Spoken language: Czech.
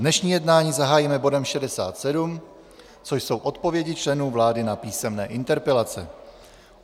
Dnešní jednání zahájíme bodem 67, což jsou odpovědi členů vlády na písemné interpelace.